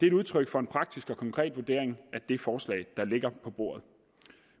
et udtryk for en praktisk og konkret vurdering af det forslag der ligger på bordet